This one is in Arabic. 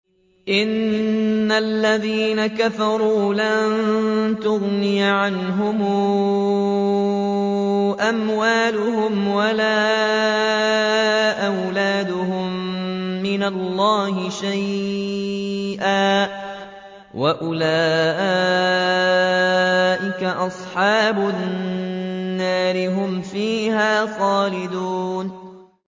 إِنَّ الَّذِينَ كَفَرُوا لَن تُغْنِيَ عَنْهُمْ أَمْوَالُهُمْ وَلَا أَوْلَادُهُم مِّنَ اللَّهِ شَيْئًا ۖ وَأُولَٰئِكَ أَصْحَابُ النَّارِ ۚ هُمْ فِيهَا خَالِدُونَ